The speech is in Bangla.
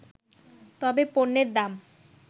তবে পণ্যের দাম